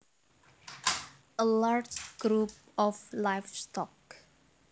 A large group of livestock